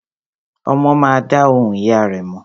Ọmọ má a dá ohùn ìyá rẹ̀ mọ̀.